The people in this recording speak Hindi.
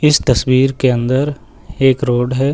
इस तस्वीर के अंदर एक रोड है।